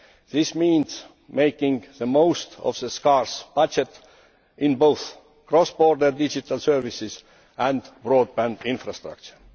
This means making the most of a scarce budget, in both cross border digital services and broadband infrastructure.